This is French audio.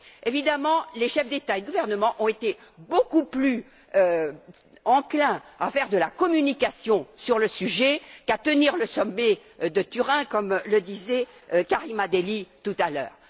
Évidemment, les chefs d'État et de gouvernement ont été beaucoup plus enclins à faire de la communication sur le sujet qu'à tenir le sommet de Turin, comme le disait Karima Delli tout à l'heure.